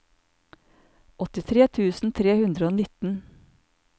åttitre tusen tre hundre og nitten